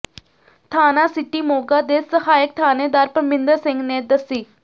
ਥਾਣਾ ਸਿਟੀ ਮੋਗਾ ਦੇ ਸਹਾਇਕ ਥਾਣੇਦਾਰ ਪਰਮਿੰਦਰ ਸਿੰਘ ਨੇ ਦੱਸਿ